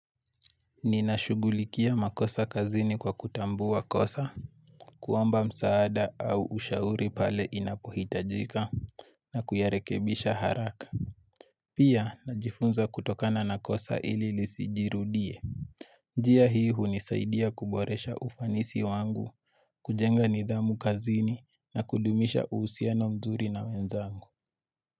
Ninashugulikia makosa kazini kwa kutambua kosa kuomba msaada au ushauri pale inapohitajika na kuyarekebisha haraka Pia najifunza kutokana na kosa ili lisijirudie njia hii hunisaidia kuboresha ufanisi wangu kujenga nidhamu kazini na kudumisha uhusiano mzuri na wenzangu.